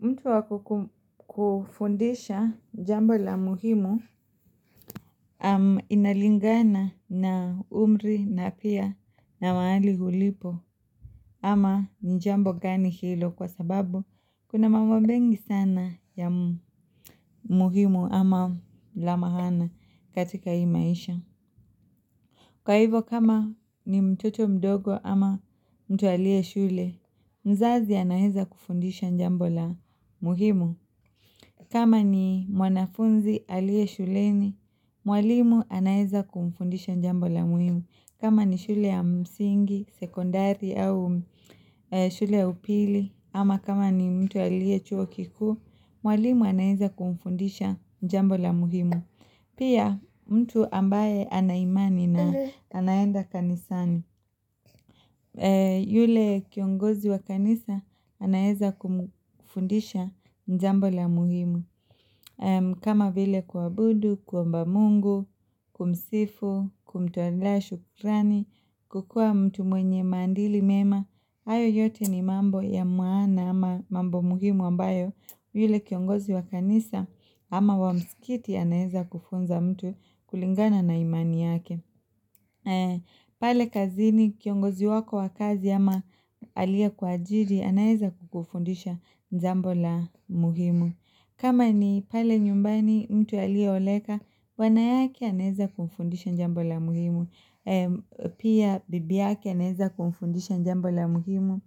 Mtu waku kufundisha jambo la muhimu inalingana na umri na pia na maali hulipo ama njambo gani hilo kwa sababu kuna mambo mengi sana ya muhimu ama lamahana katika hii maisha. Kwa hivo kama ni mtoto mdogo ama mtu alie shule, mzazi anaeza kufundisha njambola muhimu. Kama ni mwanafunzi alie shuleni, mwalimu anaeza kumfundisha njambola muhimu. Kama ni shule ya msingi, sekondari au shule ya upili ama kama ni mtu alie chuo kikuu, mwalimu anaeza kumfundisha njambola muhimu. Pia mtu ambaye anaimani na anaenda kanisani Yule kiongozi wa kanisa anayeza kumfundisha njambo la muhimu kama vile kuabudu, kuomba mungu, kumsifu, kumtoleoa shukrani, kukua mtu mwenye mandili mema hayo yote ni mambo ya muana ama mambo muhimu ambayo yule kiongozi wa kanisa Ama wamsikiti anaeza kufunza mtu kulingana na imani yake pale kazini kiongozi wako wakazi ama alie kwa ajiri anaeza kukufundisha njambo la muhimu kama ni pale nyumbani mtu alie oleka bwana yake anaeza kumfundisha njambo la muhimu Pia bibi yake anaeza kufundisha njambo la muhimu